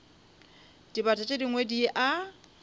dibata tše dingwe di a